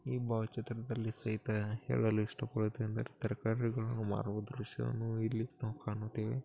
ಈ ಭಾವಚಿತ್ರದಲ್ಲಿ ಸಹಿತ ಎಲ್ಲ ಕೊಳಿತ ತರಕಾರಿಗಳನ್ನು ಮಾರುವ ದೃಶ್ಯವನ್ನು ಇಲ್ಲಿ ನಾವು ಕಾಣುತ್ತೇವೆ.